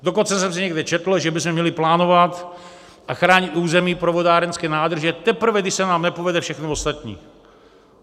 Dokonce jsem si někde četl, že bychom měli plánovat a chránit území pro vodárenské nádrže, teprve když se nám nepovede všechno ostatní.